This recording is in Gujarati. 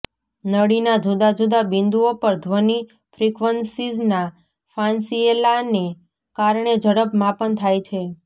નળીના જુદા જુદા બિંદુઓ પર ધ્વનિ ફ્રીક્વન્સીઝના ફાંસીએલાને કારણે ઝડપ માપન થાય છે